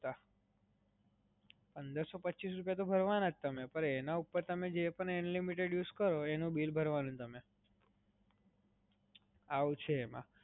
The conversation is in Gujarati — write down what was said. પંદરસો પચીસ રૂપિયા તો ભરવાના જ તમારે પણ એના ઉપર તમે જે પણ unlimited use કરો એનું bill ભરવાનું તમારે. આવું છે એમાં.